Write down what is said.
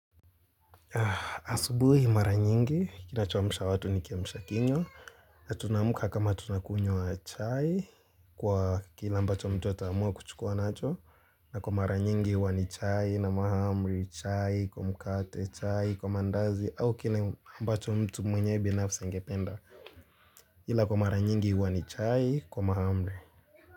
Asubuhi mara nyingi, kinachoamsha watu ni kiamisha kinyo na tunamuka kama tunakunywa chai kwa kile ambacho mtu ata amua kuchukua nacho na kwa mara nyingi huwa ni chai na mahamri chai, kwa mkate chai, kwa mandazi au kila ambacho mtu mwenye binafsi angependa ila kwa mara nyingi huwa ni chai, kwa mahamri.